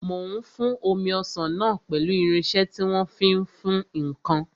Mò ń fún omi ọsàn náà pẹ̀lú irinsẹ́ tí wọ́n fi ń fún ǹkan